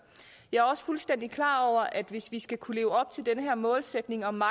jeg er også fuldstændig klar over at hvis vi skal kunne leve op til den her målsætning om